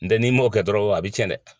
N tɛ n'i mɔn kɛ dɔrɔn a bɛ cɛn dɛ.